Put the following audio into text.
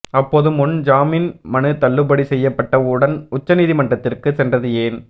அப்போது முன் ஜாமீன் மனு தள்ளுபடி செய்யப்பட்ட உடன் உச்சநீதிமன்றத்திற்கு சென்றது ஏன்